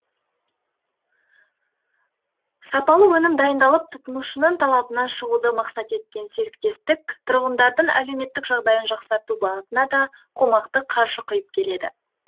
сапалы өнім дайындап тұтынушының талабынан шығуды мақсат еткен серіктестік тұрғындардың әлеуметтік жағдайын жақсарту бағытына да қомақты қаржы құйып келеді